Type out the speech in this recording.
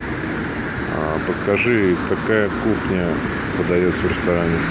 подскажи какая кухня подается в ресторане